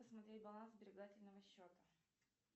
посмотреть баланс сберегательного счета